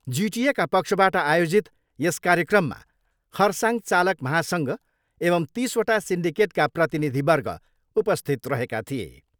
जिटिएका पक्षबाट आयोजित यस कार्यक्रममा खरसाङ चालक महासङ्घ एवं तिसवटा सिन्डिकेटका प्रतिनिधिवर्ग उपस्थित रहेका थिए।